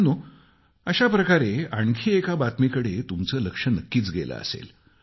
मित्रांनो अशा प्रकारे आणखी एका बातमीकडे तुमचे लक्ष नक्कीच गेलं असेल